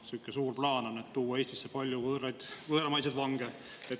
On sihuke suur plaan tuua Eestisse palju võõramaiseid vange.